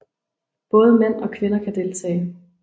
Både mænd og kvinder kan deltage